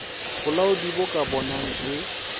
bolaodi bo ka bonang e